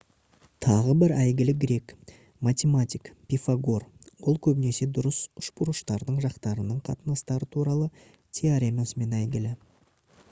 тағы бір әйгілі грек математик пифагор ол көбінесе дұрыс үшбұрыштардың жақтарының қатынастары туралы теоремасымен әйгілі